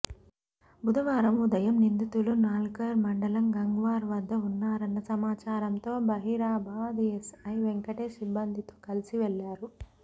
బుధవారం ఉదయం నిందితులు న్యాల్కల్ మండలం గంగ్వార్ వద్ద ఉన్నారన్న సమాచారంతో జహీరాబాద్ ఎస్ఐ వెంకటేశ్ సిబ్బందితో కలిసి వెళ్లారు